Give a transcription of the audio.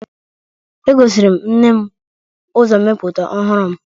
Egosiri m nne m uzommeputa ohuru m